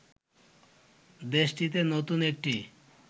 দেশটিতে নতুন একটি